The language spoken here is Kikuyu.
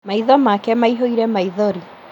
Maitho make maihũire maithori